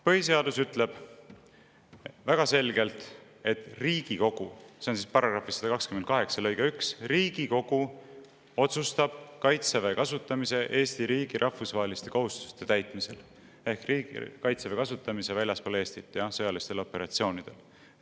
Põhiseadus ütleb väga selgelt, et Riigikogu – see on § 128 lõikes 1 – otsustab kaitseväe kasutamise Eesti riigi rahvusvaheliste kohustuste täitmisel ehk kaitseväe kasutamise väljaspool Eestit sõjalistel operatsioonidel.